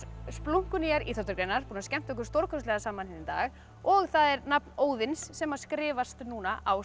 splunkunýjar íþróttagreinar við búin að skemmta okkur stórkostlega saman í dag og það er nafn Óðins sem skrifast núna á